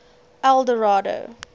eldorado